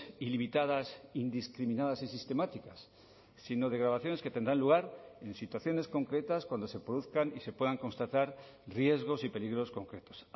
ilimitadas indiscriminadas y sistemáticas sino de grabaciones que tendrán lugar en situaciones concretas cuando se produzcan y se puedan constatar riesgos y peligros concretos